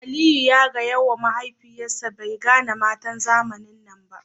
Aliyu ya gaya ma mahaifiyarsa bai gane matan zamanin nan ba